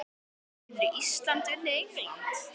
Getur Ísland unnið England?